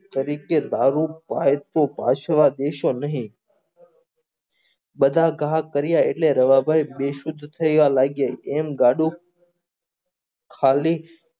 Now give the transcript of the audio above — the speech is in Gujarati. તરીકે ભાવુક થાય તૂ ત્રાસવા દેશો નહિ બધા ઘા કર્યા એટલે રવા ભઈ બે શુધ્ધ થયા લાગે એમ ગાડું હાવલી